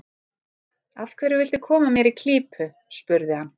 Af hverju viltu koma mér í klípu? spurði hann.